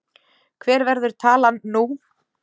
Hver verður talan nú?